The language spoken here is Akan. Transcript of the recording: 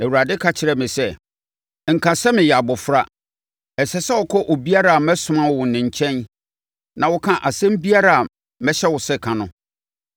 Awurade ka kyerɛɛ me sɛ, “Nka sɛ ‘meyɛ abɔfra.’ Ɛsɛ sɛ wokɔ obiara a mɛsoma wo ne nkyɛn na woka asɛm biara a mɛhyɛ wo sɛ ka no.